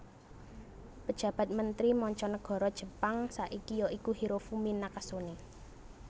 Pejabat Mentri Manca Nagara Jepang saiki ya iku Hirofumi Nakasone